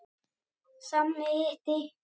Sami hiti.